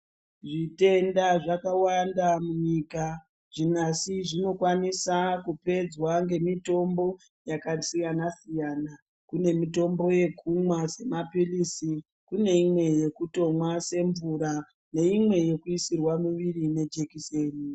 Zvitenda zvakawanda munyika. Zvimwe asi zvinokwanisa kupedzwa ngemitombo yakasiyana siyana. Kunemitombo yekumwa semaphilisi, kuneyimwe yekutomwa semvura yakasiyanana siyana neyimwe yekutoyisirwa mumwiri sejekiseni.